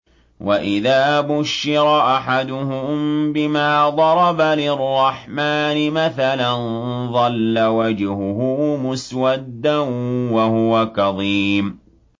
وَإِذَا بُشِّرَ أَحَدُهُم بِمَا ضَرَبَ لِلرَّحْمَٰنِ مَثَلًا ظَلَّ وَجْهُهُ مُسْوَدًّا وَهُوَ كَظِيمٌ